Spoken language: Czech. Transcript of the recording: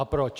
A proč?